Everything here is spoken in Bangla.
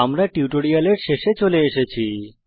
আমরা এই টিউটোরিয়ালের শেষে চলে এসেছি